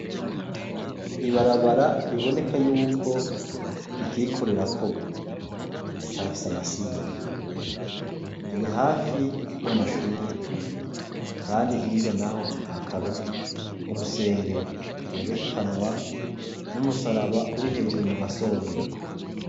Ibarabara riboneka yuko rikiriko rirakogwa riracafise amasinde, riri hafi y'amashure, kandi hirya naho hakaba urusengero gwerekanwa n'umusaraba uri hejuru mugasongero.